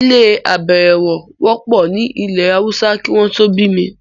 ilé -àbẹ̀ẹ̀rẹ̀wọ̀ wọ́pọ̀ ní ilẹ̀-haúsá kí wọ́n tó bí mi.